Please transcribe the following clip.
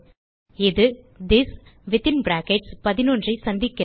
இது this within brackets 11 ஐ சந்திக்கிறது